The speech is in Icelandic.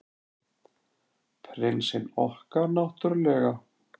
Prinsinn okkar, náttúrlega.